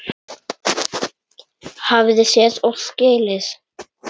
Hafði séð og skilið.